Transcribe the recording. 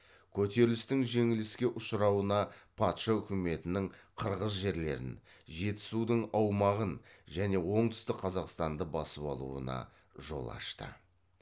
көтерілістің жеңіліске ұшырауына патша үкіметінің қырғыз жерлерін жетісудың аумағын және оңтүстік қазақстанды басып алуына жол ашты